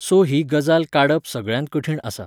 So ही गजाल काडप सगळ्यांत कठीण आसा.